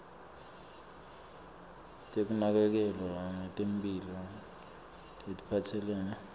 tekunakekelwa ngetemphilo letiphatselene